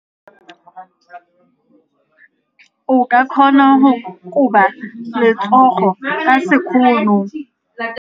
O ka kgona go koba letsogo ka sekgono.